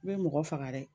I bɛ mɔgɔ faga dɛ